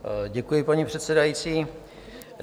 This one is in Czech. Děkuji, pane předsedající.